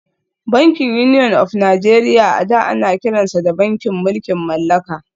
Bankin Union of Nigeria a da ana kiransa da bankin mulkin mallaka